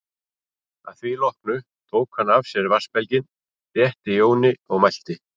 Að því loknu tók hann af sér vatnsbelginn, rétti Jóni og mælti